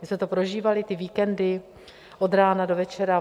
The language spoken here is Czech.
My jsme to prožívali, ty víkendy od rána do večera.